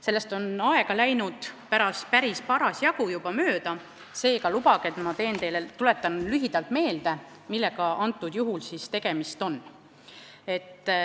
Sellest on läinud juba parasjagu aega mööda, seega lubage, et ma tuletan lühidalt meelde, millega tegemist on.